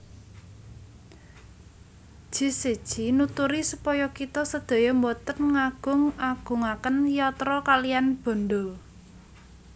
Jesse J nuturi supaya kita sedaya mboten ngagung agungaken yatra kaliyan bandha